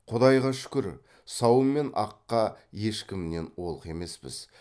құдайға шүкір сауын мен аққа ешкімнен олқы емеспіз